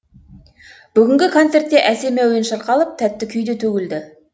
бүгінгі концертте әсем әуен шырқалып тәтті күй де төгілді